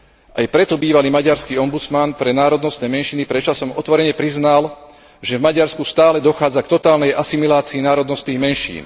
Aj preto bývalý maďarský ombudsman pre národnostné menšiny pred časom otvorene priznal, že v Maďarsku stále dochádza k totálnej asimilácii národnostných menšín.